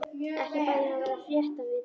Ekki bað ég um að vera réttarvitni.